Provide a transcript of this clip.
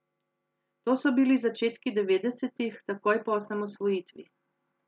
To so bili začetki devetdesetih, takoj po osamosvojitvi.